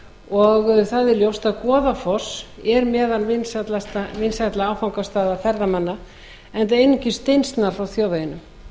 og það er ljóst að goðafoss er meðal vinsælla áfangastaða ferðamanna enda einungis steinsnar frá þjóðveginum